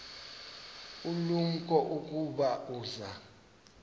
ulumko ukuba uza